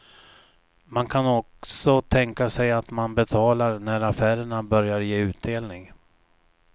Man kan också tänka sig att man betalar när affärerna börjar ge utdelning.